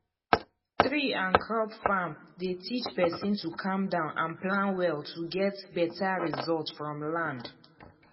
tree and crop farm dey teach person to calm down and plan well to get better result from land